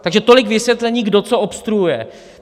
Takže tolik vysvětlení, kdo co obstruuje.